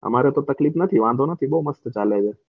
અમારે તો તકલીફ નથી વાંધો નથી બૌ મસ્ત ચાલે છે.